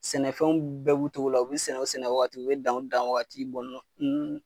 Sɛnɛfɛnw bɛɛ b'u cogo la . U be sɛnɛ u sɛnɛ waati , u be dan u dan waati